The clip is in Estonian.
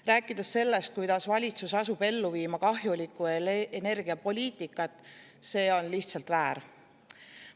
Rääkida sellest, kuidas valitsus asub ellu viima kahjulikku energiapoliitikat, on lihtsalt väär.